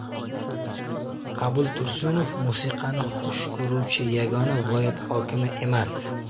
Qabul Tursunov musiqani xush ko‘ruvchi yagona viloyat hokimi emas.